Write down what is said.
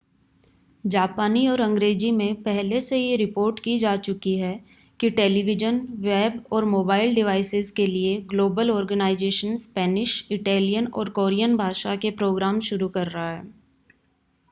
जापानी और अंग्रेज़ी में पहले से यह रिपोर्ट की जा चुकी है कि टेलीविज़न वेब और मोबाइल डिवाइसेस के लिए ग्लोबल ऑर्गनाइज़ेशन स्पेनिश इटैलियन और कोरियन भाषा के प्रोग्राम्स शुरू कर रहा है